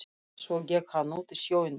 Svo gekk hann út í sjóinn.